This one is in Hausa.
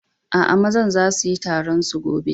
Aa, mazan zasu yi taron su gobe.